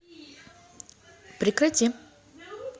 прекрати